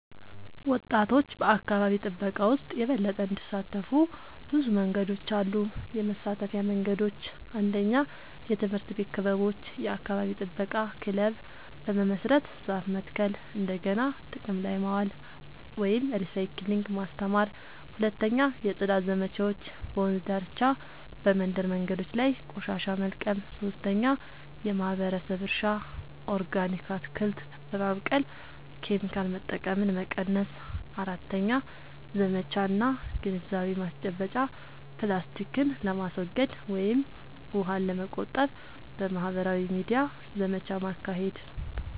ወጣቶች በአካባቢ ጥበቃ ውስጥ የበለጠ እንዲሳተፉ ብዙ መንገዶች አሉ -የመሳተፊያ መንገዶች፦ 1. የትምህርት ቤት ክበቦች – የአካባቢ ጥበቃ ክለብ በመመስረት ዛፍ መትከል፣ እንደገና ጥቅም ላይ ማዋል (recycling) ማስተማር። 2. የጽዳት ዘመቻዎች – በወንዝ ዳርቻ፣ በመንደር መንገዶች ላይ ቆሻሻ መልቀም። 3. የማህበረሰብ እርሻ – ኦርጋኒክ አትክልት በማብቀል ኬሚካል መጠቀምን መቀነስ። 4. ዘመቻ እና ግንዛቤ ማስጨበጫ – ፕላስቲክን ለማስወገድ ወይም ውሃን ለመቆጠብ በማህበራዊ ሚዲያ ዘመቻ ማካሄድ።